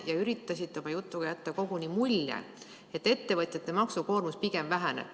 Te üritasite oma jutuga jätta koguni mulje, et ettevõtjate maksukoormus pigem väheneb.